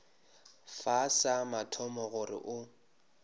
fa sa mathomo gore o